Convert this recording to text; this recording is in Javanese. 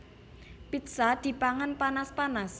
Pizza dipangan panas panas